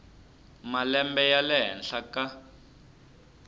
malembe ya le henhla ka